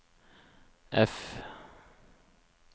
F